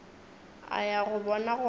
a ya go bona gore